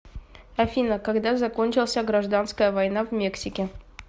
афина когда закончился гражданская война в мексике